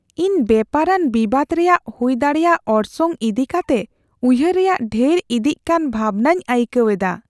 ᱤᱧ ᱵᱮᱯᱟᱨᱟᱱ ᱵᱤᱵᱟᱹᱫᱽ ᱨᱮᱭᱟᱜ ᱦᱩᱭᱫᱟᱲᱮᱭᱟᱜ ᱚᱨᱥᱚᱝ ᱤᱫᱤ ᱠᱟᱛᱮ ᱩᱭᱦᱟᱹᱨ ᱨᱮᱭᱟᱜ ᱰᱷᱮᱨ ᱤᱫᱤᱜ ᱠᱟᱱ ᱵᱷᱟᱵᱽᱱᱟᱧ ᱟᱹᱭᱠᱟᱹᱣ ᱟᱠᱟᱫᱟ ᱾